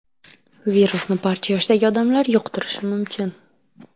Virusni barcha yoshdagi odamlar yuqtirishi mumkin.